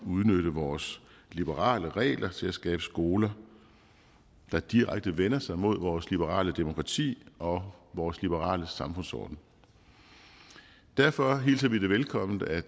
udnytte vores liberale regler til at skabe skoler der direkte vender sig mod vores liberale demokrati og vores liberale samfundsorden derfor hilser vi det velkommen at